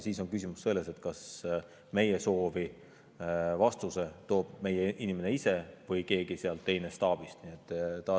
Siis on küsimus selles, kas vastuse toob meile meie inimene ise või keegi teine staabist.